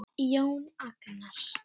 Jón Agnar?